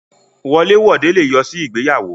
Wọlé wode le yọ sí ìgbéyàwó.